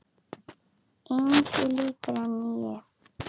Engu líkara en